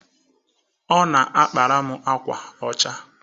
Ọ na-akpatara m akwa ọcha.